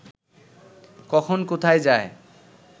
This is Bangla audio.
কখন কোথায় যায়